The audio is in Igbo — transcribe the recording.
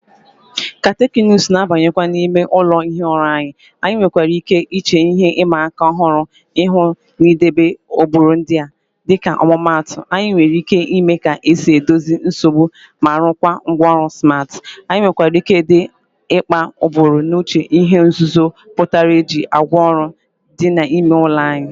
Ka teknụzụ na-abanyekwu n'ime ụlọ ihi ụra anyị, anyị nwere ike iche ihe ịma aka ọhụrụ ihu n'idebe oghere ndị a. Dịka ọmụmaatụ, anyị nwere ike ịmụ ka esi edozi nsogbu na ịrụkwa ngwaọrụ smart. Anyị nwekwara ike ịdị mkpa iburu n'uche ihe nzuzo pụtara iji ngwaọrụ ndị a n'ime ụlọ anyị.